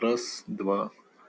раз два